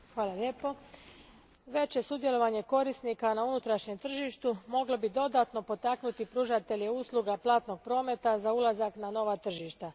Gospođo predsjednice, veće sudjelovanje korisnika na unutrašnjem tržištu moglo bi dodatno potaknuti pružatelje usluga platnog prometa za ulazak na nova tržišta.